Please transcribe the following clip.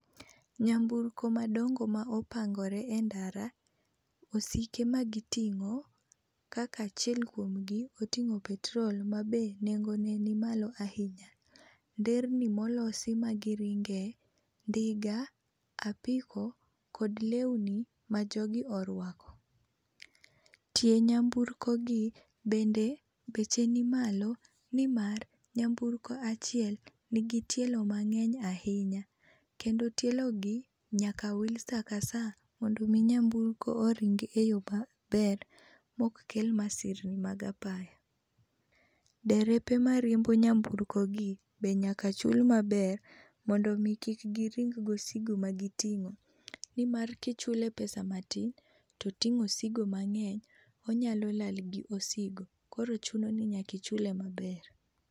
Nyamburko madongo ma opangore e ndara. Osike ma giting'o kaka achiel kuomgi oting'o petrol ma be nengo ne ni malo ahinya. Nderni molosi ma giringe, ndiga, apiko kod lewni ma jogi orwako. Tie nyamburko gi bende beche ni malo ni mar nyamburko achiel ni gi tielo mang'eny ahinya, Kendo tielo gi nyaka wil sa ka sa mondo mi nyamburko oring e yo maber mok kel masirni mag apaya. Derepe mariembo nyamburko gi be nyaka chul maber mondo omi kik giring go asigo ma giting'o. Nimar kichule pesa matin to oting'o osigo mang'eny onyalo lal gosigo koro chuno ni nyakichule maber.